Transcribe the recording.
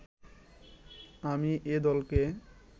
আমি এ দলকে